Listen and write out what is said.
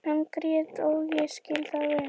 Hann grét og ég skil það vel.